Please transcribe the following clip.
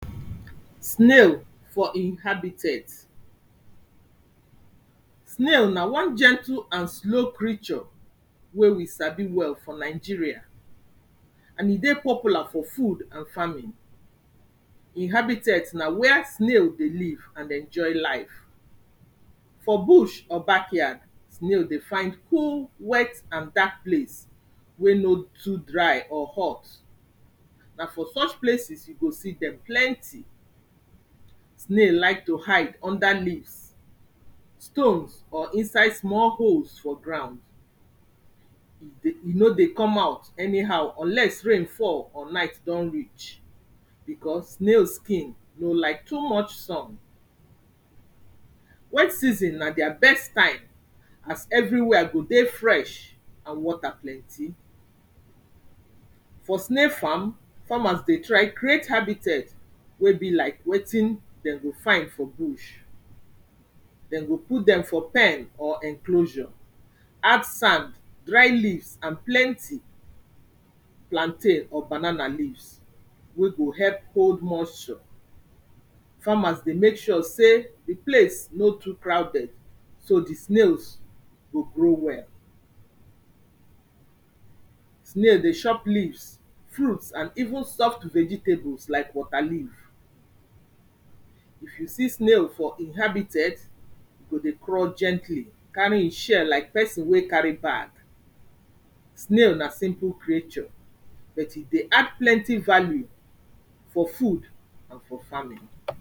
Snail for im habitet. Snail na one gentle and slow creature wey we sabi well for Nigeria and e dey popular for food and farming. Im habitet na where snail dey live and enjoy life. For bush or backyard, snail dey find cool, wet and dark place wey no too dry or hot, na for such places you go see dem plenty. Snail like to hide under leaves, stones or inside small holes for ground. E no dey come out anyhow unless rain fall or night don reach because snail skin no like too much sun. Wet season na their best time as everywhere go dey fresh and water plenty. For snail farm, farmers dey try create habitet wey be like wetin dem go find for bush, dem go put dem for pen or enclosure, add sand, dry leaves and plenty plantain or banana leaves wey go help hold mosture. Farmers dey make sure sey de place no too crowded, so de snails go grow well. Snail dey chop leaves, fruits and even soft vegetables like waterleaf. If you see snail for im habitet, e go dey crawl gently, carry im shell like person wey carry bag. Snail na simple creature but e dey add plenty value for food and for farming.